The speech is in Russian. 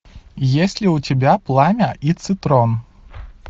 есть ли у тебя пламя и цитрон